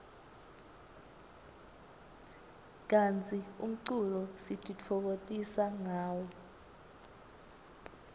kantsi umculo sitifokotisa ngawo